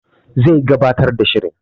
Zai gabatar da shirin